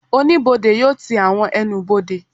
Oníbodè yóò ti àwọn ẹnubodè